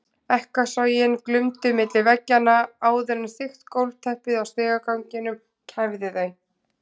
Ekkasogin glumdu milli veggjanna áður en þykkt gólfteppið á stigaganginum kæfði þau.